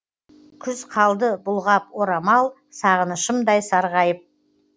күз қалды бұлғап орамал сағынышымдай сарғайып